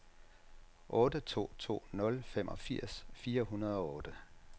otte to to nul femogfirs fire hundrede og otte